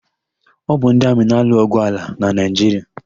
Ọ bụ ndị amị na-alụ ọgwụ ala na Naịjiria.